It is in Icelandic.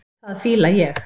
Það fíla ég.